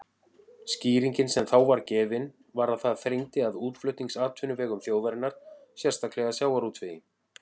Skýringin sem þá var gefin var að það þrengdi að útflutningsatvinnuvegum þjóðarinnar, sérstaklega sjávarútvegi.